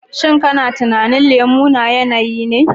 Shin kana tunanin lemo na yanayi ne?